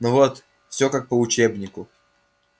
ну вот всё как по учебнику